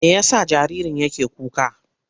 Me ya sa jaririn yake kuka?